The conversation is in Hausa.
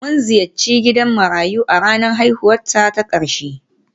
Mun ziyarci gidan marayu a ranar haihuwata ta ƙarshe